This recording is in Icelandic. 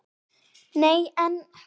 Nei en.